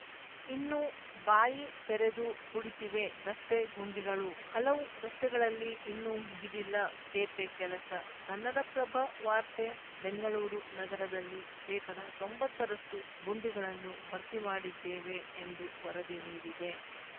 ಇನ್ನೂ ಬಾಯಿ ತೆರೆದು ಕುಳಿತಿವೆ ರಸ್ತೆ ಗುಂಡಿಗಳು ಹಲವು ರಸ್ತೆಗಳಲ್ಲಿ ಇನ್ನೂ ಮುಗಿದಿಲ್ಲ ತೇಪೆ ಕೆಲಸ ಕನ್ನಡಪ್ರಭ ವಾರ್ತೆ ಬೆಂಗಳೂರು ನಗರದಲ್ಲಿ ಶೇಕಡ ತೊಂಬತ್ತರಷ್ಟುಗುಂಡಿಗಳನ್ನು ಭರ್ತಿ ಮಾಡಿದ್ದೇವೆ ಎಂದು ವರದಿ ನೀಡಿದೆ